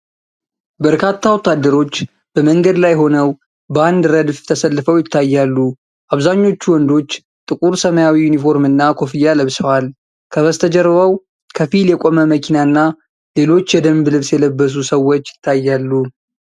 በርካታ ወታደሮች በመንገድ ላይ ሆነው በአንድ ረድፍ ተሰልፈው ይታያሉ። አብዛኞቹ ወንዶች ጥቁር ሰማያዊ ዩኒፎርምና ኮፍያ ለብሰዋል። ከበስተጀርባው ከፊል የቆመ መኪናና ሌሎች የደንብ ልብስ የለበሱ ሰዎች ይታያሉ።